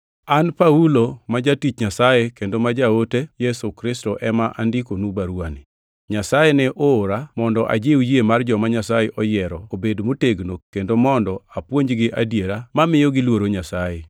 An Paulo, ma jatich Nyasaye kendo ma jaote Yesu Kristo ema andikonu baruwani. Nyasaye ne oora mondo ajiw yie mar joma Nyasaye oyiero obed motegno, kendo mondo apuonjgi adiera mamiyo giluoro Nyasaye,